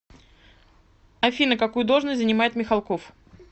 афина какую должность занимает михалков